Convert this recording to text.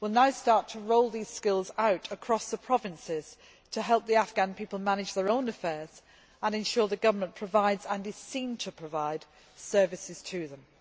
We will now start to roll these skills out across the provinces to help the Afghan people manage their own affairs and ensure the government provides and is seen to provide services to them.